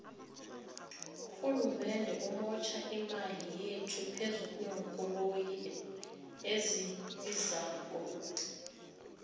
urhulumende umotjha imali yethu phezukwenkoloyi ezibizako